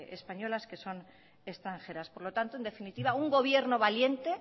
españolas que son extranjeras por lo tanto en definitiva un gobierno valiente